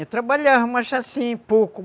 Eu trabalhava, mas assim, pouco.